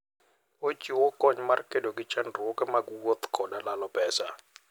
Ochiwo kony mar kedo gi chandruoge mag wuoth koda lalo pesa.